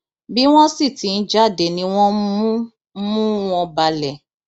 bí wọn sì ti ń jáde ni wọn ń mú mú wọn balẹ